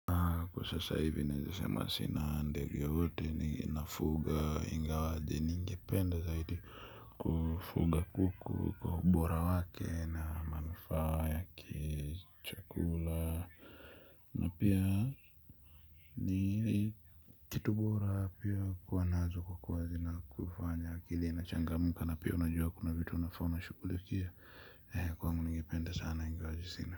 Kwa sasa hivi niezasema sina ndege yoyote ninafuga ingawaje ningependa zaidi kufuga kuku kwa ubora wake na manufaa ya kichakula. Na pia ni kitu bora pia kuwa nazo kukwazi na kufanya akili na changa muka na pia unajua kuna vitu unafona shukulikia kwa munu ningipenda sana ingawaji sinah.